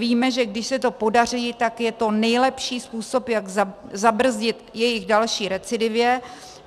Víme, že když se to podaří, tak je to nejlepší způsob, jak zabrzdit jejich další recidivě.